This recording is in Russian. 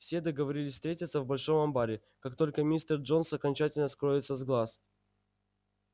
все договорились встретиться в большом амбаре как только мистер джонс окончательно скроется из глаз